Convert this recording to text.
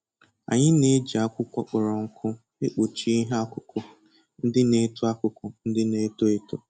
Anyị na-eji akwụkwọ kpọrọ nkụ ekpụchi ihe akụkụ ndị na-eto akụkụ ndị na-eto eto.